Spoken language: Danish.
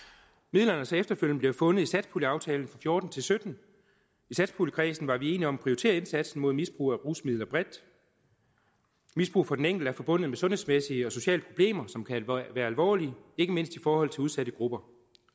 midlerne er så efterfølgende blevet fundet i satspuljeaftalen og fjorten til sytten i satspuljekredsen var vi enige om at prioritere indsatsen mod misbrugere af rusmidler bredt misbrug for den enkelte er forbundet med sundhedsmæssige og sociale problemer som kan være alvorlige ikke mindst i forhold til udsatte grupper